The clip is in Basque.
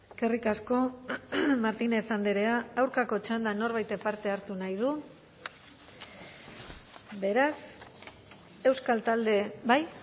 eskerrik asko martínez andrea aurkako txandan norbaitek parte hartu nahi du beraz euskal talde bai